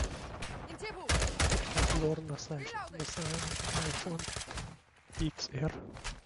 обзор на айфон икс эр